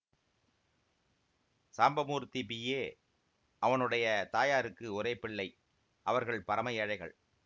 Sambamurthy B A அவனுடைய தாயாருக்கு ஒரே பிள்ளை அவர்கள் பரம ஏழைகள்